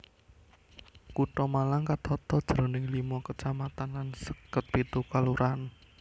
Kutha Malang ketata jroning limo kacamatan lan seket pitu kalurahan